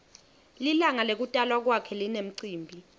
lilangalekutalwa kwakhe linemcimbi